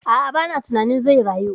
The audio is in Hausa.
A'a, ba na tunanin zai rayu